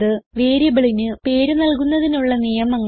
വേരിയബിളിന് പേര് നൽകുന്നതിനുള്ള നിയമങ്ങൾ